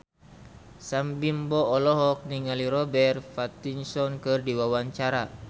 Sam Bimbo olohok ningali Robert Pattinson keur diwawancara